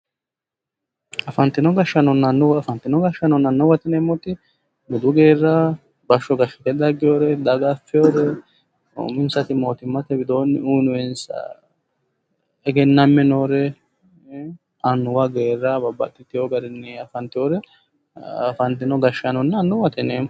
Afantinno gashaanonna anuwa ,afantino gashaano anuwate yineemotti budu geera, bashsho gashite dagewoore, daga afiyoore uminsati mootimmatte widoonni uyiinoyiti egename noore annuwa geera babbaxiteyo garinni afanteyoore afatinno gashaanonna anuwate yineemo.